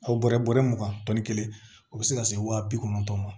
Aw bɔrɛ bɔrɛ mugan tɔnni kelen o bɛ se ka se wa bi kɔnɔntɔn ma